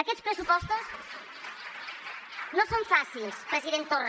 aquests pressupostos no són fàcils president torra